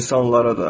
İnsanlara da.